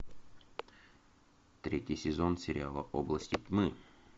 третий сезон сериала области тьмы